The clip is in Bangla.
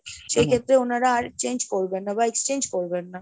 সেই ক্ষেত্রে ওনারা আর change করবেন না বা exchange করবেন না।